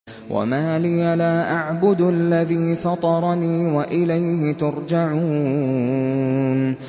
وَمَا لِيَ لَا أَعْبُدُ الَّذِي فَطَرَنِي وَإِلَيْهِ تُرْجَعُونَ